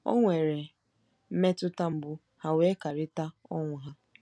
O nwere mmetụta mgbu ha wee kerịta ọnwụ ha.